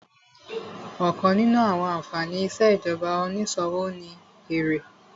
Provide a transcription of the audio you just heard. Ọ̀kan nínú àwọn ànfàní ìṣèjọba onísòwò ni èrè